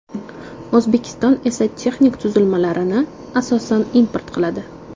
O‘zbekiston esa texnik tuzilmalarni, asosan, import qiladi.